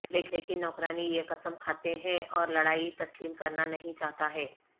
لیکن نوکرانی یہ قسم کھاتے ہیں اور لڑائی تسلیم کرنا نہیں چاہتا ہے